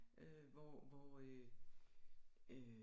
Øh hvor hvor øh øh